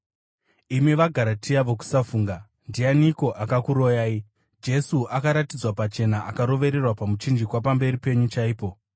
Imi vaGaratia vokusafunga! Ndianiko akakuroyai? Jesu akaratidzwa pachena akarovererwa pamuchinjikwa pamberi penyu chaipo.